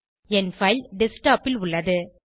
என் file desktop ல் உள்ளது